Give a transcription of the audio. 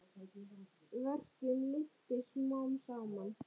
Verkjum linnti smám saman.